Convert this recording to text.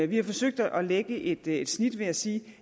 vi har forsøgt at lægge et et snit ved at sige